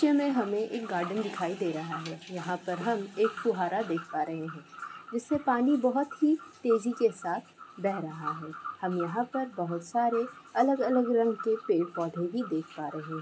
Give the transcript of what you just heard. Picture में हमें एक गार्डन दिखाई दे रहा है यहाँ पर हम एक फुहारा देख पा रहे हैं जिससे पानी बहुत ही तेजी के साथ बह रहा है हम यहाँ पर बहुत सारे अलग-अलग रंग के पेड़-पौधे भी देख पा रहे--।